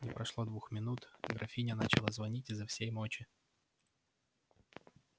не прошло двух минут графиня начала звонить изо всей мочи